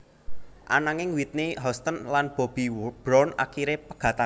Ananging Whitney Houston lan Bobby Brown akiré pegatan